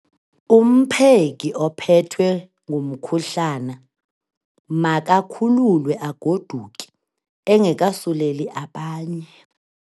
Umpheki ophethwe ngumkhuhlane makakhululwe agoduke engekasuleli abanye.